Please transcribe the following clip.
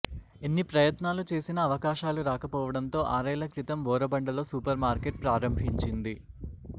ఎన్ని ప్రయత్నాలు చేసినా అవకాశాలు రాకపోవడంతో ఆరేళ్ల క్రితం బోరబండలో సూపర్ మార్కెట్ ప్రారంభించింది